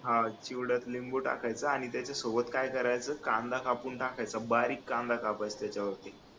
हा चिवड्यात लिंबू टाकायचं आणि त्याच्या सोबत काय करायचं कांदा कापून टाकायचा बारीक कांदा कापायचा त्याच्या वरती